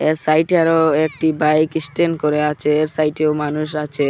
এর সাইট -এ আরও একটি বাইক ইস্ট্যান্ড করে আছে এর সাইট -এও মানুষ আছে।